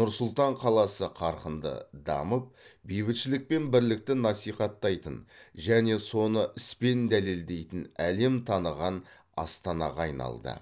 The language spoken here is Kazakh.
нұр сұлтан қаласы қарқынды дамып бейбітшілік пен бірлікті насихаттайтын және соны іспен дәлелдейтін әлем таныған астанаға айналды